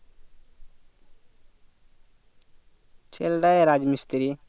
ছেলে তা রাজ মিস্ত্রি